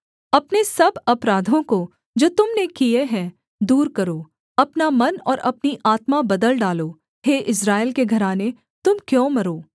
अपने सब अपराधों को जो तुम ने किए हैं दूर करो अपना मन और अपनी आत्मा बदल डालो हे इस्राएल के घराने तुम क्यों मरो